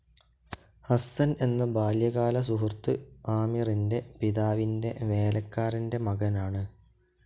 ഹസ്സൻ എന്ന ബാല്യകാല സുഹൃത്ത് ആമിറിന്റെ പിതാവിന്റെ വേലക്കാരന്റെ മകനാണ്.